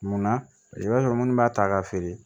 Munna i b'a sɔrɔ munnu b'a ta ka feere